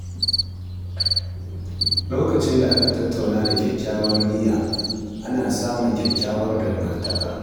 Lokacin da aka tattauna da kyakkyawar niyya, ana samun kyakkyawar dangantaka.